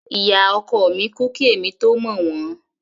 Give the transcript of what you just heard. Ìyá ọkọ mi kú kí èmi tó mọ̀ wọ́n.